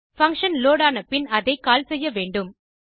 function load ஆன பின் அதை கால் செய்ய வேண்டும்